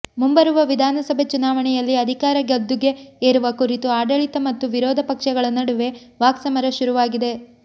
ಮುಂಬರುವ ವಿಧಾನಸಭೆ ಚುನಾವಣೆಯಲ್ಲಿ ಅಧಿಕಾರ ಗದ್ದುಗೆ ಎರುವ ಕುರಿತು ಆಡಳಿತ ಮತ್ತು ವಿರೋಧ ಪಕ್ಷಗಳ ನಡುವೆ ವಾಕ್ಸಮರ ಶುರುವಾಗಿದೆ